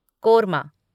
korma